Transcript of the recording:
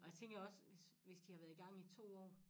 Og så tænkte jeg også hvis hvis de har været i gang i 2 år